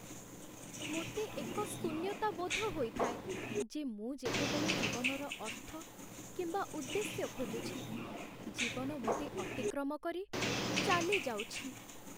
ମୋତେ ଏକ ଶୂନ୍ୟତାବୋଧ ହୋଇଥାଏ ଯେ ମୁଁ ଯେତେବେଳେ ଜୀବନର ଅର୍ଥ କିମ୍ବା ଉଦ୍ଦେଶ୍ୟ ଖୋଜୁଛି, ଜୀବନ ମୋତେ ଅତିକ୍ରମ କରି ଚାଲିଯାଉଛି ।